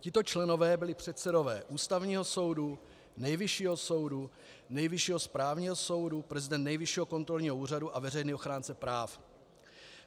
Tito členové byli předsedové Ústavního soudu, Nejvyššího soudu, Nejvyššího správního soudu, prezident Nejvyššího kontrolního úřadu a veřejný ochránce práv.